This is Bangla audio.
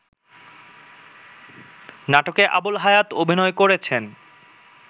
নাটকে আবুল হায়াত অভিনয় করেছেন